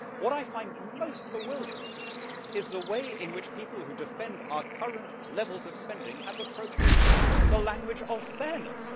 What I find most bewildering is the way in which people who defend our current levels of spending have appropriated the language of fairness.